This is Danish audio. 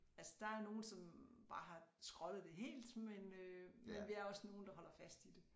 Altså der er nogen som bare har skrottet det helt men øh men vi er også nogle der holder fast i det